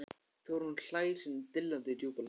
Þórunn hlær sínum dillandi djúpa hlátri.